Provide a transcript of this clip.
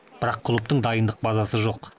бірақ клубтың дайындық базасы жоқ